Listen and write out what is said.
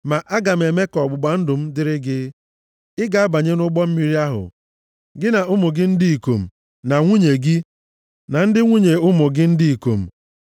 Ma aga m eme ka ọgbụgba ndụ m dịrị gị. Ị ga-abanye nʼụgbọ mmiri ahụ, gị na ụmụ gị ndị ikom, na nwunye gị, na ndị nwunye ụmụ gị ndị ikom.